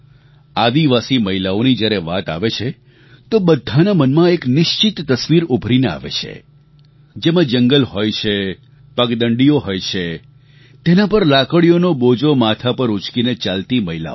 આદિવાસી મહિલાઓની જ્યારે વાત આવે છે તો બધાનાં મનમાં એક નિશ્ચિત તસવીર ઉભરીને આવે છે જેમાં જંગલ હોય છે પગદંડીઓ હોય છે તેના પર લાકડીઓનો બોજો માથા પર ઊંચકીને ચાલતી મહિલાઓ